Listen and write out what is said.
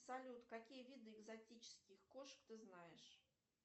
салют какие виды экзотических кошек ты знаешь